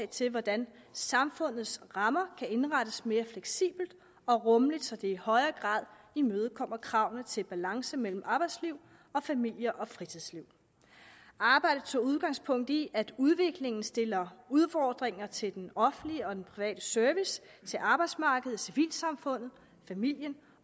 til hvordan samfundets rammer kan indrettes mere fleksibelt og rummeligt så det i højere grad imødekommer kravene til balance mellem arbejdsliv og familie og fritidsliv arbejdet tog udgangspunkt i at udviklingen stiller udfordringer til den offentlige og den private service til arbejdsmarkedet civilsamfundet familien